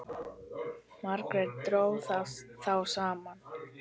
Margt dró þá saman.